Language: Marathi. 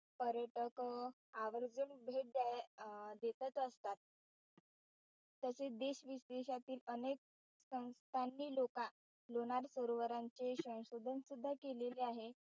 पर्यटक अं आवर्जून भेट द्याय देतच असतात. तसेच देशविदेशातील अनेक संस्थांनी लोका लोणार सरोवरांचे संशोधन सुद्धा केलेलं आहे.